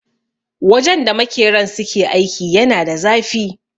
Wajen da makeran suke aiki yana da zafi.